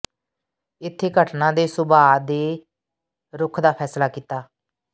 ਇੱਥੇ ਘਟਨਾ ਦੇ ਸੁਭਾਅ ਦੇ ਰੁੱਖ ਦਾ ਫ਼ੈਸਲਾ ਕੀਤਾ